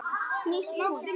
Snýst hún?